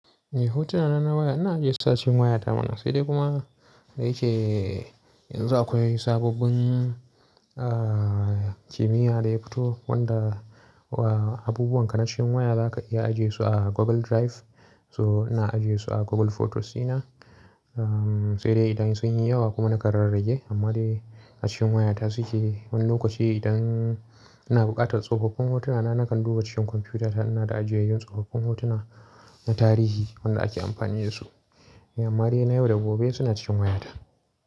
Eh, hotuna na waya ana ajiyesu a cikin waya ta mana sai dai kuma da yake yanzu akwai sababbin, ah, kimiyya da ya fito wanda wa abubuwan kanacin waya za ka iya ajiye su a Google Drive. So ina ajiye su a Google Photos ɗina. Uhm, sai dai idan sun yi yawa kuma na kan rarrage. Amma dai a cikin wayata suke. Wani lokaci idan ina buƙatar tsofaffin hotuna na nakan duba cikin kwamfiyuta ta ina na ajiye yan tsofaffin hotuna na tarihi wanda ake amfani da su. Amma dai na yau da gobe suna cikin waya ta.